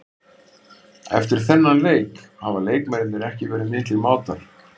Eftir þennan leik hafa leikmennirnir ekki verið miklir mátar.